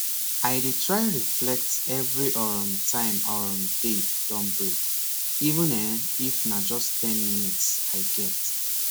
i dey try reflect every um time um day don break even[um]if na just ten minutes i get